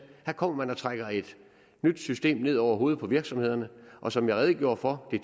her kommer man og trækker et nyt system ned over hovedet på virksomhederne og som jeg redegjorde for har